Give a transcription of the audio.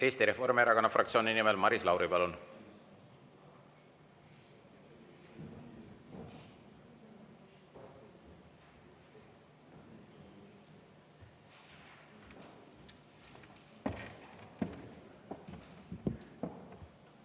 Eesti Reformierakonna fraktsiooni nimel Maris Lauri, palun!